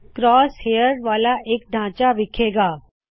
cross hairs ਵਾਲ਼ਾ ਇਕ ਖਾਕਾ ਦਿੱਸੇ ਗਾ